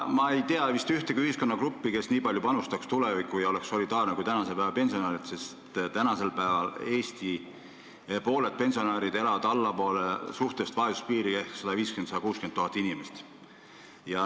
Ma ei tea vist ühtegi ühiskonnagruppi, kes nii palju panustaks tulevikku ja oleks nii solidaarne kui praegused pensionärid, sest pooled Eesti pensionärid ehk 150 000 – 160 000 inimest elab allpool suhtelist vaesuspiiri.